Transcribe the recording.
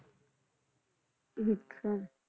ਅੱਛਾ